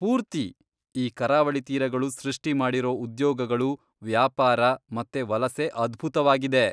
ಪೂರ್ತಿ! ಈ ಕರಾವಳಿ ತೀರಗಳು ಸೃಷ್ಟಿಮಾಡಿರೋ ಉದ್ಯೋಗಗಳು, ವ್ಯಾಪಾರ ಮತ್ತೆ ವಲಸೆ ಅದ್ಭುತವಾಗಿದೆ.